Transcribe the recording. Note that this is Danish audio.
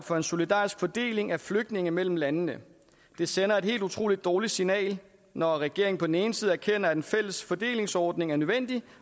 for en solidarisk fordeling af flygtninge mellem landene det sender et helt utrolig dårligt signal når regeringen på den ene side erkender at en fælles fordelingsordning er nødvendig